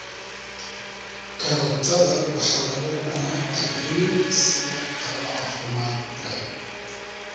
Karootada waxaa lagu cunaa ceyriin sida qado caafimaad leh.